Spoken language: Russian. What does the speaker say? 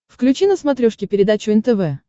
включи на смотрешке передачу нтв